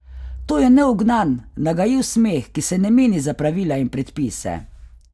To je neugnan, nagajiv smeh, ki se ne meni za pravila in predpise.